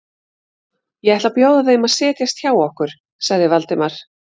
Ég ætla að bjóða þeim að setjast hjá okkur sagði Valdimar.